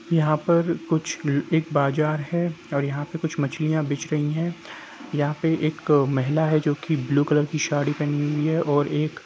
यहाँ पर कुछ एक बाजार हैं और यहाँ पे कुछ मछलिया बिछ रही हैं यहाँ पे एक महिला हैं जो की ब्लू कलर की साड़ी पहनी हैं और एक--